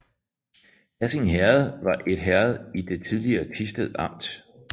Hassing Herred var et herred i det tidligere Thisted Amt